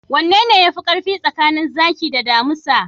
Wanene yafi karfi tsakanin zaki da damisa?